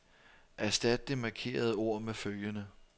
Erstat det markerede ord med følgende.